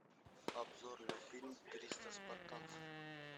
обзор на фильм триста спартанцев